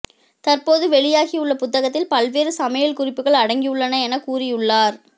தற்போது வெளியாகியுள்ள புத்தகத்தில் பல்வேறு சமையல் குறிப்புகள் அடங்கியுள்ளன என கூறியுள்ளார்